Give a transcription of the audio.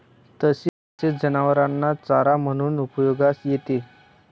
तसेच जनावरांना चारा म्हणूनही उपयोगास येते.